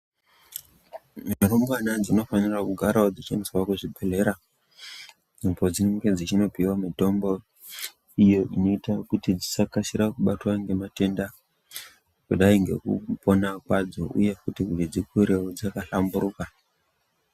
Mirumbwana dzinofanirao kugarawo dzichiendeswa kuzvibhedhlera apo dzinenge dzichinopiwe mitombo iyo inoita kuti dzisakasire kubatwa ngematenda kudai ngekupona kwadzo uye futi kuti dzikureo dzakahlamburuka.